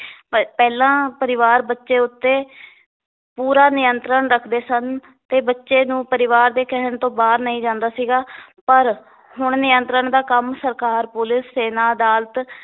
ਪ~ ਪਹਿਲਾਂ ਪਰਿਵਾਰ ਬੱਚੇ ਉੱਤੇ ਪੂਰਾ ਨਿਯੰਤਰਣ ਰੱਖਦੇ ਸਨ ਤੇ ਬੱਚੇ ਨੂੰ ਪਰਿਵਾਰ ਦੇ ਕਹਿਣ ਤੋਂ ਬਾਹਰ ਨਹੀ ਜਾਂਦਾ ਸੀਗਾ ਪਰ ਹੁਣ ਨਿਯੰਤਰਣ ਦਾ ਕੰਮ ਸਰਕਾਰ, ਪੁਲਿਸ, ਸੈਨਾ, ਅਦਾਲਤ